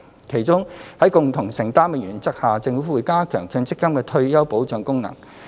其中，在共同承擔的原則下，政府會加強強積金的退休保障功能。